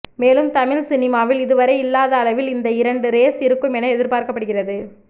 மேலும் தமிழ் சினிமாவில் இதுவரை இல்லாத அளவில் இந்த இரண்டு ரேஸ் இருக்கும் என எதிர்பார்க்கப்படுகிறது